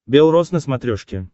белрос на смотрешке